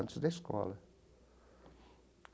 Antes da escola.